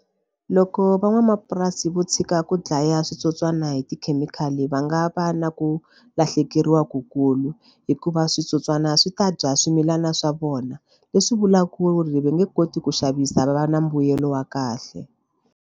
Loko van'wamapurasi vo tshika ku dlaya switsotswani hi tikhemikhali va nga va na ku lahlekeriwa ku kulu hikuva switsotswana swi ta dya swimilana swa vona leswi vulaka ku ri va nge koti ku xavisa va va na mbuyelo wa kahle.